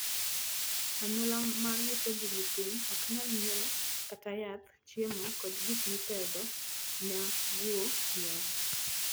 Anyuola ma yutogi ni piny ok nyal ng'iewo kata yath, chiemo, kod gik mipedho na guo ii ot.